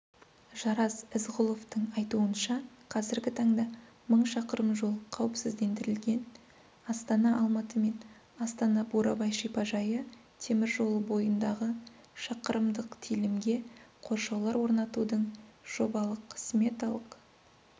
жарас ізғұловтың айтуынша қазіргі таңда мың шақырым жол қауіпсіздендірілген астана-алматы мен астана-бурабай шипажайы темір жолы бойындағы шақырымдық телімге қоршаулар орнатудың жобалық-сметалық